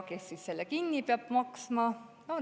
Kes selle kinni peab maksma?